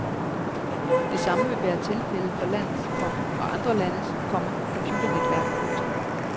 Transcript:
Det samme vil være tilfældet for landets, komma og andre landes, komma computernetværk. punktum